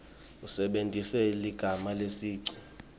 usebentise ligama lesicu